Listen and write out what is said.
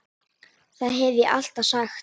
Það hef ég alltaf sagt.